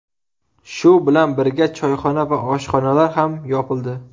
Shu bilan birga, choyxona va oshxonalar ham yopildi.